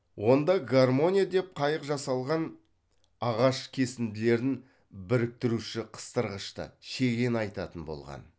онда гармония деп қайық жасалған ағаш кесінділерін біріктіруші қыстырғышты шегені айтатын болған